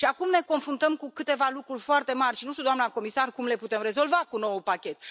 Și acum ne confruntăm cu câteva lucruri foarte mari și nu știu, doamnă comisar, cum le putem rezolva cu noul pachet.